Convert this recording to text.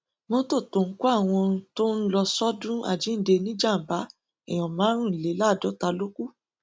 mọtò tó ń kọ àwọn tó ń lọọ sọdún àjíǹde níjàmbá èèyàn márùndínláàádọta ló kù